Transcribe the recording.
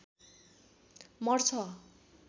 मर्छ